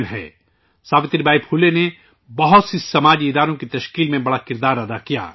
Savitri by Phule نے بہت سے سماجی اداروں کی تشکیل میں بڑا کردار ادا کیا ہے